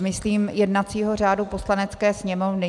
Myslím jednacího řádu Poslanecké sněmovny.